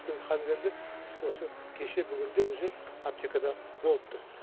өйткені қазір енді осы кеше бүгін де уже аптекада болыпты